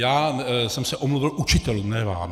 Já jsem se omluvil učitelům, ne vám.